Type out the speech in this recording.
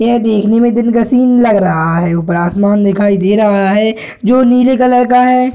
यह देखने में दिन का सीन लग रहा है ऊपर आसमान दिखाई दे रहा है जो नीले कलर का है।